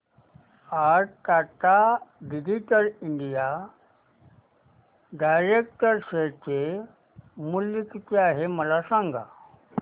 आज Tata digital India direct share चे मूल्य किती आहे मला सांगा